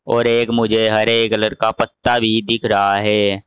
और एक मुझे हरे कलर का पत्ता भी दिख रहा है।